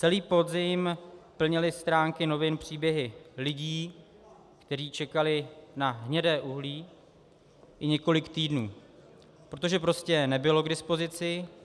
Celý podzim plnily stránky novin příběhy lidí, kteří čekali na hnědé uhlí i několik týdnů, protože prostě nebylo k dispozici.